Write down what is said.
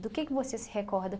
Do que que você se recorda?